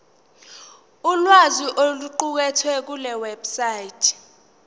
ulwazi oluqukethwe kulewebsite